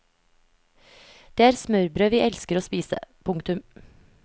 Det er smørbrød vi elsker å spise. punktum